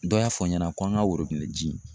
Dɔ y'a fɔ ɲɛna ko an ka worobinɛ ji min.